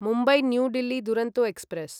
Mumbai New Delhi Duronto express